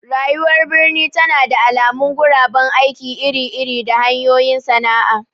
Rayuwar birni tana da alamun guraben aiki iri-iri da hanyoyin sana'a.